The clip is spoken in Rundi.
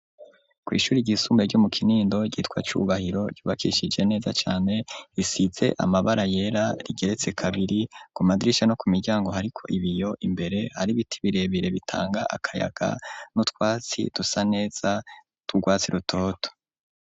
Ku ishuri ryisumbe ryo mu Kinindo ryitwa Cubahiro ryubakishije neza cane risize amabara yera rigeretse kabiri ku madirisha no ku miryango hariko ibiyo imbere hari ibiti birebire bitanga akayaga n'utwatsi dusa neza tw'urwatsi rutoto.